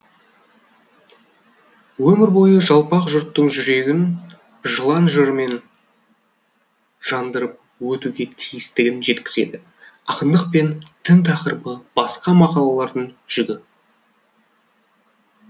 өмір бойы жалпақ жұрттың жүрегін жылан жырымен жандырып өтуге тиістігін жеткізеді ақындық пен дін тақырыбы басқа мақалалардың жүгі